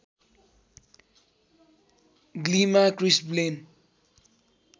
ग्लीमा Chris Blaine